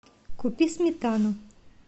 купи сметану